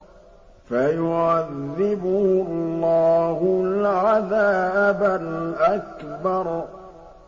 فَيُعَذِّبُهُ اللَّهُ الْعَذَابَ الْأَكْبَرَ